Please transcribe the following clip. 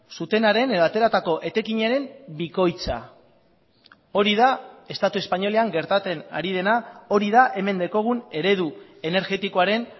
zutenaren edo ateratako etekinaren bikoitza hori da estatu espainolean gertatzen ari dena hori da hemen daukagun eredu energetikoaren